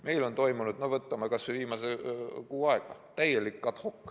Meil on toimunud – võtame kas või viimase kuu –täielik ad hoc.